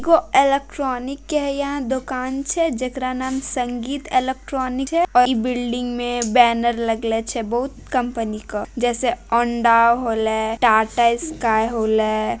वो इलेक्ट्रॉनिक के यहाँ दुकान छे जेकरा नाम संदीप इलेक्ट्रॉनिक हैइ बिल्डिंग में बैनर लगे छे बहुत कंपनी का जैसे ओनिडा होल टाटा स्काई होल।